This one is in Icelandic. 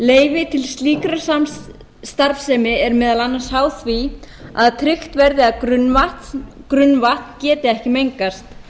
og hafnarfjarðar leyfi til slíkra starfsemi er meðal annars háð því að tryggt verði að grunnvatn geti ekki mengast